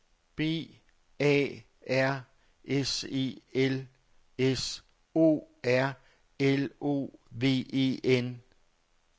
B A R S E L S O R L O V E N